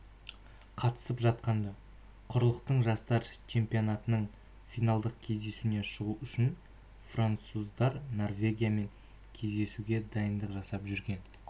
қатысып жатқан-ды құрлықтың жастар чемпионатының финалдық кезеңіне шығу үшін француздар норвегиямен кездесуге дайындық жасап жүрген